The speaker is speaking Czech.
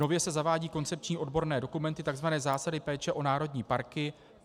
Nově se zavádějí koncepční odborné dokumenty, tzv. zásady péče o národní parky.